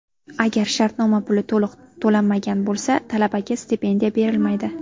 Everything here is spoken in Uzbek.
Agar shartnoma puli to‘liq to‘lanmagan bo‘lsa, talabaga stipendiya berilmaydi.